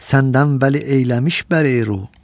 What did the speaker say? Səndən vəli eyləmiş bər-ey-ruh.